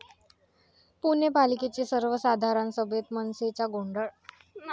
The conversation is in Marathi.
पुणे पालिकेची सर्वसाधारण सभेत मनसेचा गोंधळ